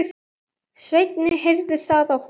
Svenni heyrir það á honum.